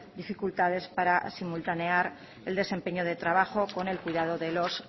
dificultades para simultanear el desempeño de trabajo con el cuidado de los